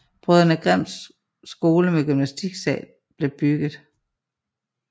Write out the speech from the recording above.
Brødrene Grimm Skole med gymnastiksal blev bygget